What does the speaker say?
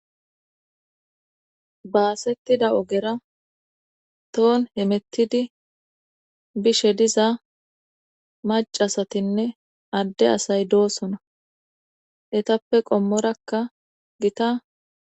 baasettida ogera toon hemettidi bishe diza macasatinne adde asay doosona etappe qommorakka gita